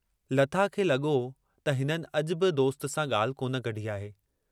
लता खे लॻो त हिननि अॼु बि दोस्त सां ॻाल्हि कोन कढी आहे।